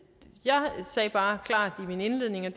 sagde bare i min indledning at